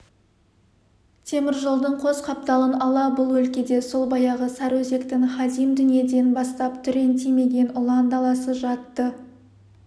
теміржолдың қос қапталын ала бұл өлкеде сол баяғы сарыөзектің хадим дүниеден бастап түрен тимеген ұлан даласы жатты